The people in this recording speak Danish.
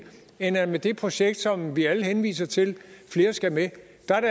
end at det med det projekt som vi alle henviser til flere skal med